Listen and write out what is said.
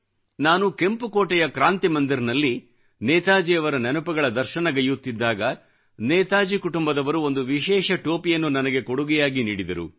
ನಾನು ಕೆಂಪು ಕೋಟೆಯ ಕ್ರಾಂತಿ ಮಂದಿರ್ನಭಲ್ಲಿ ನೇತಾಜಿಯವರ ನೆನಪುಗಳ ದರ್ಶನಗೈಯ್ಯುತ್ತಿದ್ದಾಗ ನೇತಾಜಿ ಕುಟುಂಬದವರು ಒಂದು ವಿಶೇಷ ಟೋಪಿಯನ್ನು ನನಗೆ ಕೊಡುಗೆಯಾಗಿ ನೀಡಿದರು